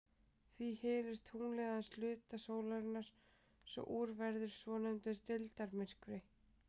Því hylur tunglið aðeins hluta sólarinnar svo úr verður svonefndur deildarmyrkvi.